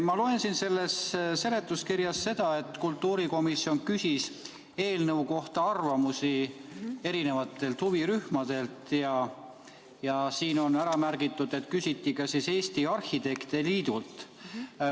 Ma loen siit seletuskirjast, et kultuurikomisjon küsis eelnõu kohta arvamusi huvirühmadelt, ja siin on ära märgitud, et küsiti ka Eesti Arhitektide Liidult.